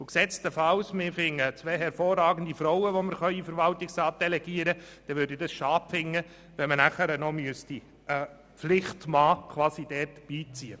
Finden wir jedoch zwei hervorragende Frauen, fände ich es schade, wenn man noch einen «Pflichtmann» beiziehen müsste.